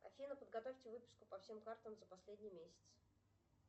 афина подготовьте выписку по всем картам за последний месяц